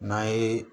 N'an ye